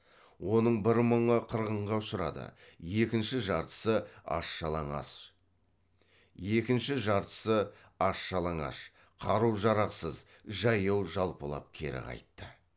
оның бір мыңы қырғынға ұшырады екінші жартысы аш жалаңаш қару жарақсыз жаяу жалпылап кері қайтты